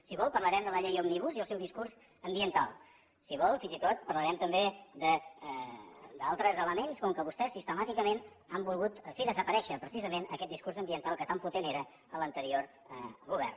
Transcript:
si vol parlarem de la llei òmnibus i el seu discurs ambiental si vol fins i tot parlarem també d’altres elements com que vostès sistemàticament han volgut fer desaparèixer precisament aquest discurs ambiental que tan potent era en l’anterior govern